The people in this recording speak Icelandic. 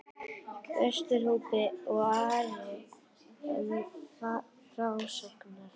Vesturhópi, og er Ari enn til frásagnar